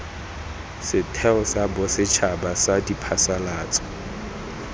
setheo sa bosetšhaba sa diphasalatso